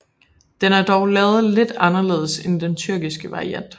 Den er dog lavet lidt anderledes end den tyrkiske variant